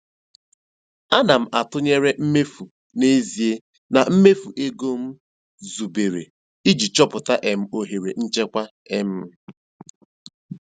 Ana m atụnyere mmefu n'ezie na mmefu ego m zubere iji chọpụta um ohere nchekwa. um